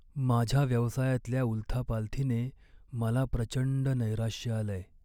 माझ्या व्यवसायातल्या उलथापालथीने मला प्रचंड नैराश्य आलंय.